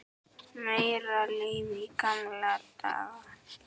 Meira líf í gamla daga?